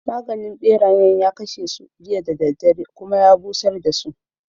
Maganin ɓerayen ya kashe su jiya da daddare, kuma ya busar dasu.